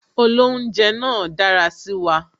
Olounje náà dára sí wa